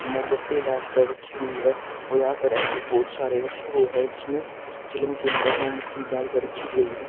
मोमबत्ती डालकर रखी हुई है और यहां पर ऐसे बहुत सारे रखे हो है जिसमें चिलम के अंदर में मोमबत्ती डालकर रखी गई है।